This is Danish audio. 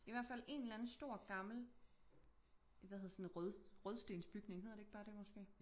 I hvert fald én eller anden stor gammel hvad hedder sådan rød rødstensbygning hedder det ikke bare det måske?